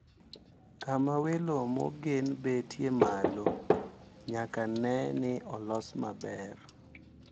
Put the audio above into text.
Kama welo mogen betie malo nyaka ne ni olos maber.